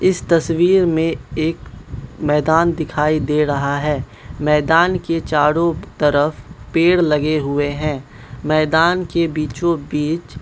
इस तस्वीर में एक मैदान दिखाई दे रहा है मैदान के चारों तरफ पेड़ लगे हुए हैं मैदान के बीचों बीच --